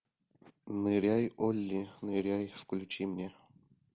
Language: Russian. ныряй олли ныряй включи мне